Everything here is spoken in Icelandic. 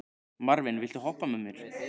Marvin, viltu hoppa með mér?